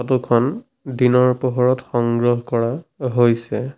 Photo খন দিনৰ পোহৰত সংগ্ৰহ কৰা হৈছে।